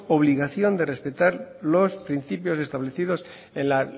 obligación de respetar los principios establecidos en la